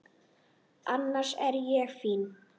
Annars er ég fín.